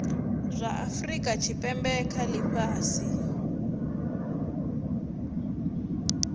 zwa afurika tshipembe kha ifhasi